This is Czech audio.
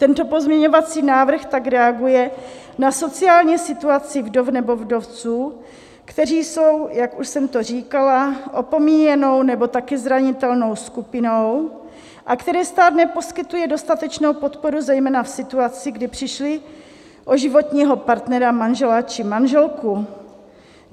Tento pozměňovací návrh tak reaguje na sociální situaci vdov nebo vdovců, kteří jsou, jak už jsem to říkala, opomíjenou nebo také zranitelnou skupinou a kterým stát neposkytuje dostatečnou podporu zejména v situaci, kdy přišli o životního partnera, manžela či manželku.